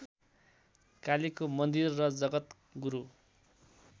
कालिको मन्दीर र जगतगुरु